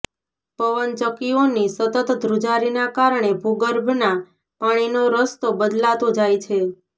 પવન ચક્કીઓની સતત ધ્રુજારીના કારણે ભુગર્ભના પાણીનો રસ્તો બદલાતો જાય છે